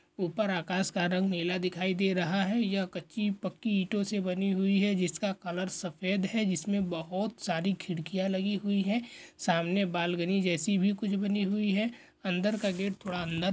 ऊपर आकाश का रंग नीला दिखाई दे रहा हैं यह कच्ची पक्की ईंटो से बनी हुई हैं जिसका कलर सफ़ेद हैं जिसमे बहोत सारी खिड़कियाँ लगी हुई हैं सामने बालगनि जैसी भी कुछ बनी हुई हैं अंदर का गेट थोड़ा अंदर--